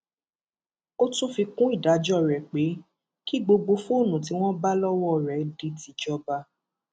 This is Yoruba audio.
ó tún fi kún ìdájọ rẹ pé kí gbogbo fóònù tí wọn bá lọwọ rẹ di tìjọba